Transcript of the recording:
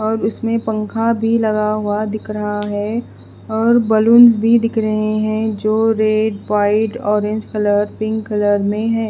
और इसमें पंखा भी लगा हुआ दिक्ख रहा है और बलूंस भी दिक्ख रहे हैं जो red white orange colour pink colour में है।